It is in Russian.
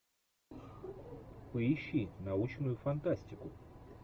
поищи научную фантастику